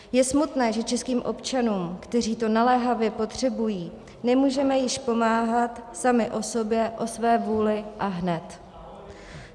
Je smutné, že českým občanům, kteří to naléhavě potřebují, nemůžeme již pomáhat sami o sobě, o své vůli a hned.